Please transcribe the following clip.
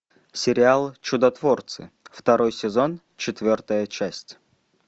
сериал чудотворцы второй сезон четвертая часть